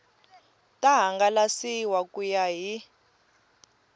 ta hangalasiwa ku ya hi